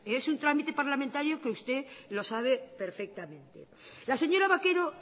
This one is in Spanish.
es un trámite parlamentario que usted lo sabe perfectamente la señora vaquero